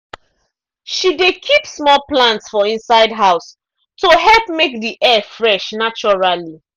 she dey keep small plant for inside house to help make the air fresh naturally.